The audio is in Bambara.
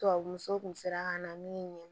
Tubabuso kun sera ka na min ye